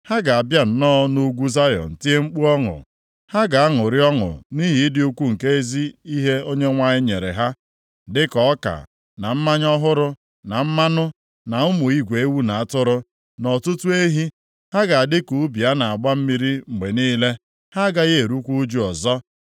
Ha ga-abịa nọọ nʼugwu Zayọn tie mkpu ọṅụ, ha ga-aṅụrị ọṅụ nʼihi ịdị ukwu nke ezi ihe Onyenwe anyị nyere ha, dịka ọka, na mmanya ọhụrụ, na mmanụ, na ụmụ igwe ewu na atụrụ, na ọtụtụ ehi. Ha ga-adị ka ubi a na-agba mmiri mgbe niile; ha agaghị erukwa ụjụ ọzọ.